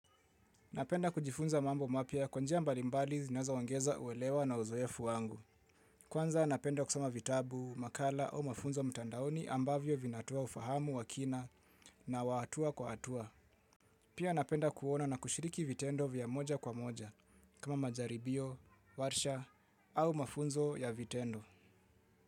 Napenda kujifunza mambo mapya kwa njia mbalimbali zinazo ongeza uelewa na uzoefu wangu. Kwanza napenda kusoma vitabu, makala au mafunzo mtandaoni ambavyo vinatoa ufahamu wa kina na wa hatua kwa hatua. Pia napenda kuona na kushiriki vitendo vya moja kwa moja kama majaribio, warsha au mafunzo ya vitendo.